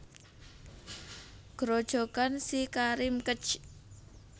Grojogan SiKarim Kec